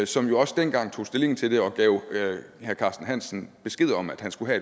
som jo også dengang tog stilling til det og gav herre carsten hansen besked om at han skulle